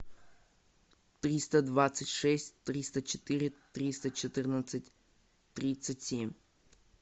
триста двадцать шесть триста четыре триста четырнадцать тридцать семь